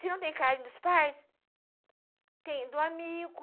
Se não tem carinho dos pais, tem do amigo.